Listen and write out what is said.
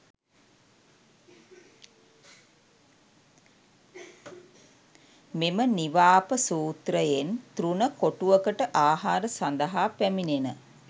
මෙම නිවාප සූත්‍රයෙන් තෘණ කොටුවකට ආහාර සඳහා පැමිණෙන